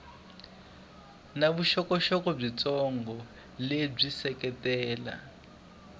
na vuxokoxoko byitsongo lebyi seketela